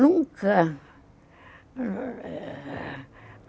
Nunca